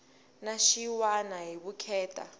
na xin wana hi vukheta